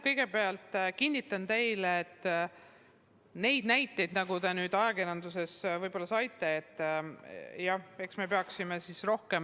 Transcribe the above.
Kõigepealt kinnitan teile, et neid näiteid, nagu te nüüd ajakirjandusest võib-olla saite, jah, eks neid tõesti ole.